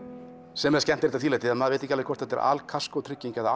sem er skemmtilegt að því leyti að maður veit ekki aveg hvort þetta er al kaskótrygging eða